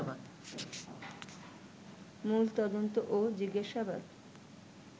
মূল তদন্ত ও জিজ্ঞাসাবাদ